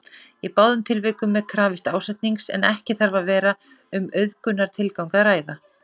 Í báðum tilvikum er krafist ásetnings en ekki þarf að vera um auðgunartilgang að ræða.